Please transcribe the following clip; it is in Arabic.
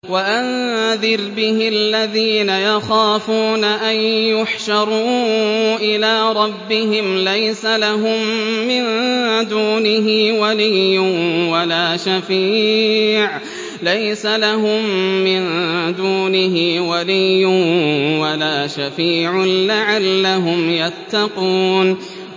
وَأَنذِرْ بِهِ الَّذِينَ يَخَافُونَ أَن يُحْشَرُوا إِلَىٰ رَبِّهِمْ ۙ لَيْسَ لَهُم مِّن دُونِهِ وَلِيٌّ وَلَا شَفِيعٌ لَّعَلَّهُمْ يَتَّقُونَ